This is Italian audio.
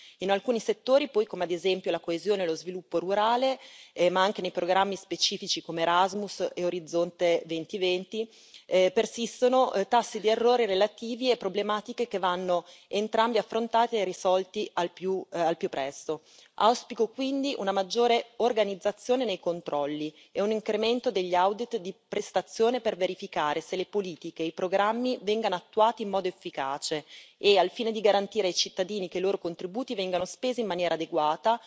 In alcuni settori, poi, come ad esempio la coesione e lo sviluppo rurale, ma anche nei programmi specifici come Erasmus e Orizzonte 2020, persistono tassi di errore relativi a problematiche che vanno entrambi affrontati e risolti al più presto. Auspico quindi una maggiore organizzazione nei controlli e un incremento degli audit di prestazione, per verificare se le politiche e i programmi vengano attuati in modo efficace e, al fine di garantire ai cittadini che i loro contributi vengano spesi in maniera adeguata,